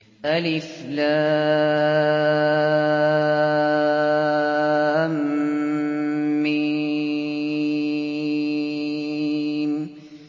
الم